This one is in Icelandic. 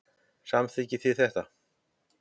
Samþykkið þið þetta?